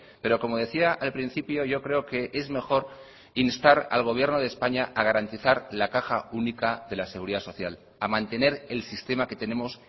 pero como decía al principio yo creo que es mejor instar al gobierno de españa a garantizar la caja única de la seguridad social a mantener el sistema que tenemos